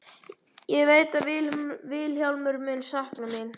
Ég veit að Vilhjálmur mun sakna mín.